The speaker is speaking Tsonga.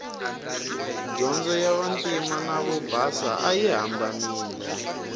dyondzo ya vantima na vobasa ayi hambanile